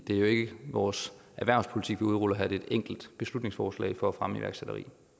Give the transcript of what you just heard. det er jo ikke vores erhvervspolitik vi udruller her det er et enkelt beslutningsforslag for at fremme iværksætteri